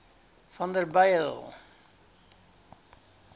vanderbijl